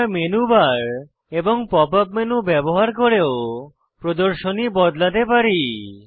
আমরা menu bar এবং pop up menu ব্যবহার করেও প্রদর্শনী বদলাতে পারি